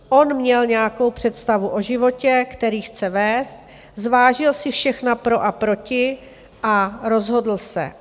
On měl nějakou představu o životě, který chce vést, zvážil si všechna pro a proti a rozhodl se.